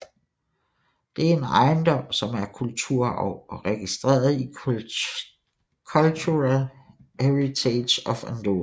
Det er en ejendom som er kulturarv og registreret i Cultural Heritage of Andorra